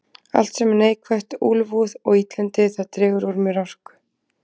Allt sem er neikvætt, úlfúð og illindi, það dregur úr mér orku.